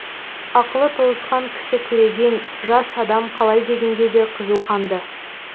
ақылы толысқан кісі көреген жас адам қалай дегенде де қызу қанды